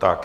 Tak.